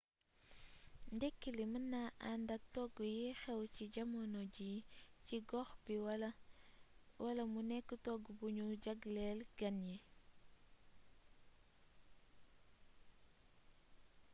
ndekki li mën na ànd ak togg yiy xew ci jamono ji ci gox bi wala mu nekk togg bu ñu jagleel gan ñi